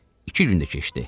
İki gün də keçdi.